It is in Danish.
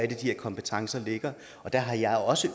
de her kompetencer ligger og der har jeg også